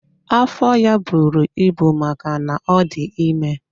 Afọ ya buru ibu maka na ọ dị ime.